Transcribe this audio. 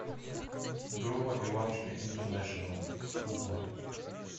группа иванушки интернешнл кукла